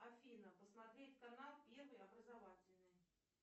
афина посмотреть канал первый образовательный